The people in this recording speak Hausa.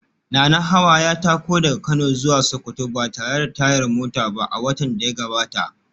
Nanahawa ya tako daga Kano zuwa Sokoto ba tare da tayar mota ba a watan da ya gabata